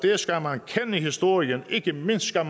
men historien ikke mindst skal